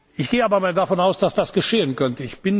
ist. Ich gehe aber davon aus, dass das geschehen